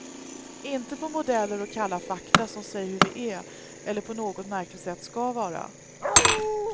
Inte på modeller och kalla fakta som säger hur vi är eller på något märkligt sätt skall vara.